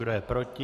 Kdo je proti?